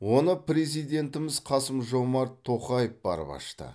оны президентіміз қасым жомарт тоқаев барып ашты